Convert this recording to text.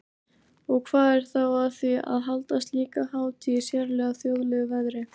Og hvað er þá að því að halda slíka hátíð í sérlega þjóðlegu veðri?